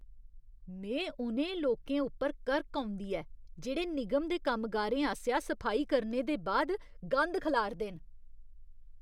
में उ'नें लोकें उप्पर करक औंदी ऐ जेह्ड़े निगम दे कम्मगारें आसेआ सफाई करने दे बाद गंद खलारदे न।